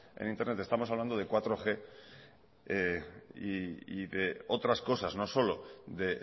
en internet estamos hablando de laug y de otras cosas no solo de